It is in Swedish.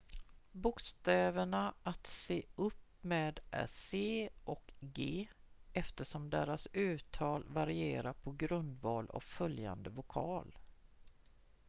bokstäverna att se upp med är c och g eftersom deras uttal varierar på grundval av följande vokal